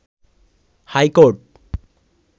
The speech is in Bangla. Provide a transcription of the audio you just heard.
high court